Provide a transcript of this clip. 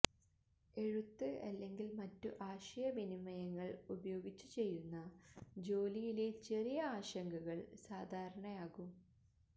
എഴുത്ത് അല്ലെങ്കിൽ മറ്റു ആശയ വിനിമയങ്ങൾ ഉപയോഗിചു ചെയ്യുന്ന ജോലിയിലെ ചെറിയ ആശങ്കകൾ സാധാരണ ആകും